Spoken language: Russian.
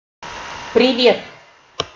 привет